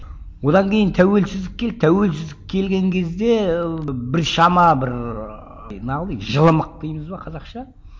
одан кейін тәуелсіздік келді тәуелсіздік келген кезде ыыы біршама бір ыыы не қыл дейік жылымық дейміз ба қазақша